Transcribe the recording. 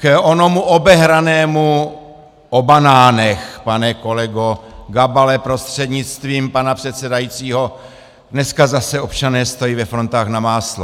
K onomu obehranému o banánech, pane kolego Gabale prostřednictvím pana předsedajícího, dneska zase občané stojí ve frontách na máslo.